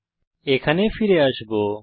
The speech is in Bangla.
আমরা এখানে ফিরে আসব